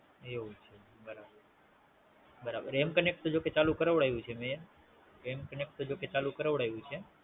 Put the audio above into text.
એવું છે બરાબર. બરાબર. M connect તો જોકે ચાલુ કરાવડાવ્યું છે મેં. M connect તો જોકે ચાલુ કરાવડાવ્યું છે